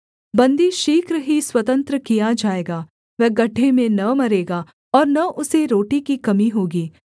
बन्दी शीघ्र ही स्वतंत्र किया जाएगा वह गड्ढे में न मरेगा और न उसे रोटी की कमी होगी